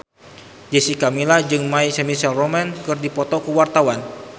Jessica Milla jeung My Chemical Romance keur dipoto ku wartawan